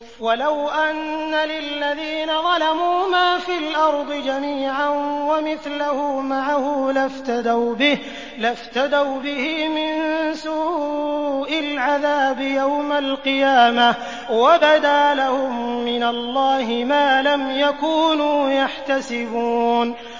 وَلَوْ أَنَّ لِلَّذِينَ ظَلَمُوا مَا فِي الْأَرْضِ جَمِيعًا وَمِثْلَهُ مَعَهُ لَافْتَدَوْا بِهِ مِن سُوءِ الْعَذَابِ يَوْمَ الْقِيَامَةِ ۚ وَبَدَا لَهُم مِّنَ اللَّهِ مَا لَمْ يَكُونُوا يَحْتَسِبُونَ